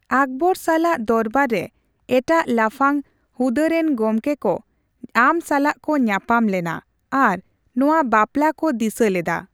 ᱟᱠᱵᱚᱨ ᱥᱟᱞᱟᱜ ᱫᱚᱨᱵᱟᱨ ᱨᱮ ᱮᱴᱟᱜ ᱞᱟᱯᱷᱟᱝ ᱦᱩᱫᱟᱹ ᱨᱮᱱ ᱜᱚᱢᱠᱮ ᱠᱚ ᱟᱢ ᱥᱟᱞᱟᱜ ᱠᱚ ᱧᱟᱯᱟᱢ ᱞᱮᱱᱟ ᱟᱨ ᱱᱚᱣᱟ ᱵᱟᱯᱞᱟ ᱠᱚ ᱫᱤᱥᱟᱹ ᱞᱮᱫᱟ ᱾